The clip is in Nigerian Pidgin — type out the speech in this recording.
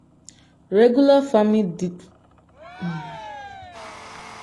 regular fami[um]